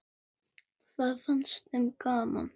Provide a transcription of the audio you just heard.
Það fannst þeim gaman.